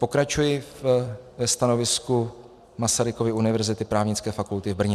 - Pokračuji ve stanovisku Masarykovy univerzity, Právnické fakulty v Brně.